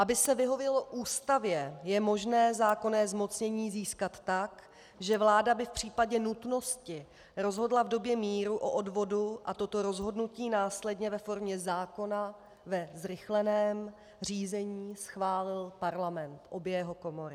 Aby se vyhovělo Ústavě, je možné zákonné zmocnění získat tak, že vláda by v případě nutnosti rozhodla v době míru o odvodu a toto rozhodnutí následně ve formě zákona ve zrychleném řízení schválil Parlament, obě jeho komory.